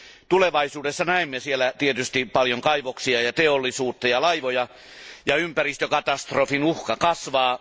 Tulevaisuudessa näemme siellä tietenkin paljon kaivoksia, teollisuutta ja laivoja, jolloin ympäristökatastrofien uhka kasvaa.